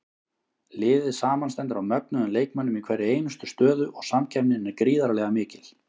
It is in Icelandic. Liðið samanstendur af mögnuðum leikmönnum í hverri einustu stöðu og samkeppnin er gríðarlega mikil.